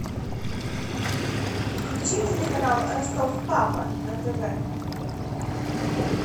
включи телеканал ростов папа на тв